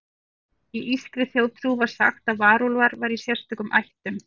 Í írskri þjóðtrú var sagt að varúlfar væru í sérstökum ættum.